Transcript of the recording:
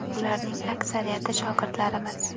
Ularning aksariyati shogirdlarimiz.